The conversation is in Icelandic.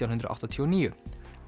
hundruð áttatíu og níu